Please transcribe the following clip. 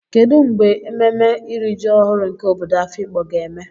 kedu mgbe ememme iri ji ọhụrụ nke obodo afikpo ga-eme?